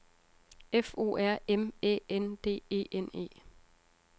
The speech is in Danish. F O R M Æ N D E N E